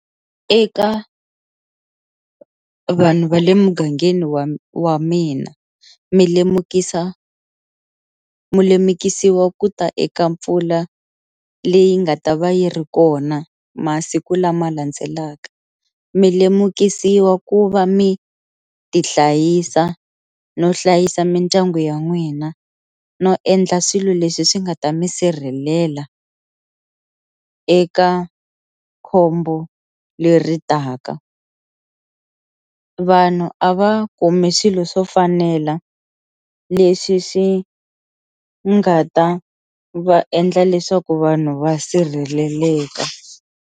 Eka vanhu va le mugangeni wa wa mina mi lemukisa mi lemukisiwa ku ta eka mpfula leyi nga ta va yi ri kona masiku lama landzelaka, mi lemukisiwa ku va mi ti hlayisa no hlayisa mindyangu ya n'wina no endla swilo leswi swi nga ta mi sirhelela eka khombo leri taka, vanhu a va kumi swilo swo fanela leswi swi nga ta va endla leswaku vanhu va sirheleleka.